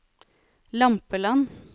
Lampeland